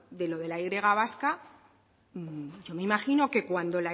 de lo de la y vasca y me imagino que cuando